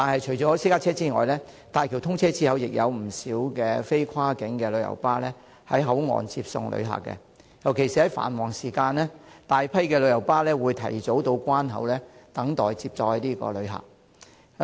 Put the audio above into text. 除私家車外，大橋通車後亦有不少非跨境旅遊巴士在口岸接送旅客，尤其在繁忙時間，大批旅遊巴士會提早到關口等待接載旅客。